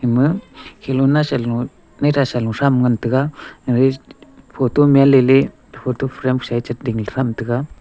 ama khilona salung nai thasalung tham ngantaga photo menley laih photo frame sa ye cheding thamtaga.